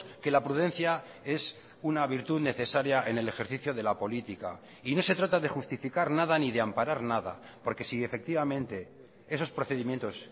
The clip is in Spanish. que la prudencia es una virtud necesaria en el ejercicio de la política y no se trata de justificar nada ni de amparar nada porque si efectivamente esos procedimientos